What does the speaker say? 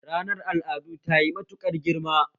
Ranar al'adu tayi matuƙar girma